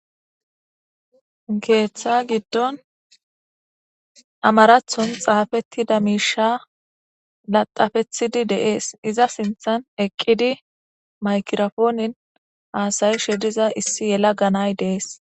keeththa giddon amarathon xaafettida miisha laxafethidi deees iza sinthan eqqidi maykirafoonin haasayi she diza issi yela ganay deees